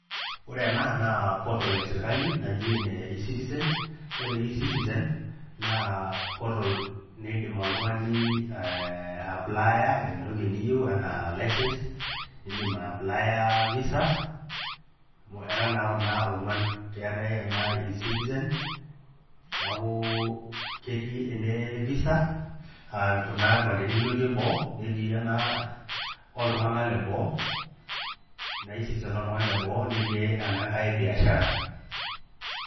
Ore ena naa portal esirkali naji ene E citizen ore E citizen naa portal nindim oltung'ani ayaplaya entoki niyieu enaa license nindim ayaplaya Visa amu era naa Kuna ogean amu eetae [cs[E citizen, neeku ketii ene Visa aa Kuna kipandeni ilotie boo netii ena oltunganak leboo tena kesitizen leboo netii enankae ebiashara.